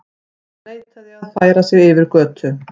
Neitaði að færa sig yfir götu